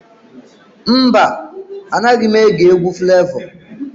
Mba, Anaghị m ege egwu Flevọ.